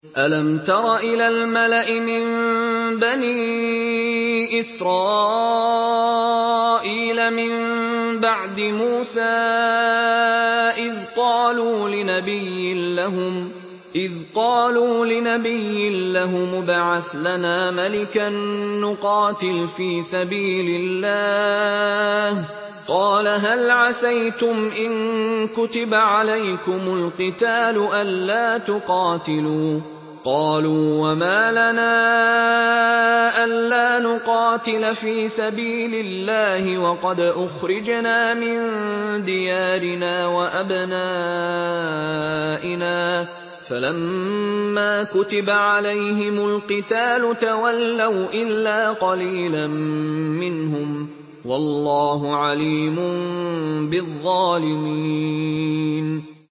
أَلَمْ تَرَ إِلَى الْمَلَإِ مِن بَنِي إِسْرَائِيلَ مِن بَعْدِ مُوسَىٰ إِذْ قَالُوا لِنَبِيٍّ لَّهُمُ ابْعَثْ لَنَا مَلِكًا نُّقَاتِلْ فِي سَبِيلِ اللَّهِ ۖ قَالَ هَلْ عَسَيْتُمْ إِن كُتِبَ عَلَيْكُمُ الْقِتَالُ أَلَّا تُقَاتِلُوا ۖ قَالُوا وَمَا لَنَا أَلَّا نُقَاتِلَ فِي سَبِيلِ اللَّهِ وَقَدْ أُخْرِجْنَا مِن دِيَارِنَا وَأَبْنَائِنَا ۖ فَلَمَّا كُتِبَ عَلَيْهِمُ الْقِتَالُ تَوَلَّوْا إِلَّا قَلِيلًا مِّنْهُمْ ۗ وَاللَّهُ عَلِيمٌ بِالظَّالِمِينَ